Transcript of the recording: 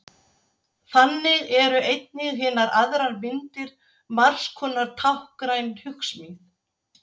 Þannig eru einnig hinar aðrar myndir margskonar táknræn hugsmíð.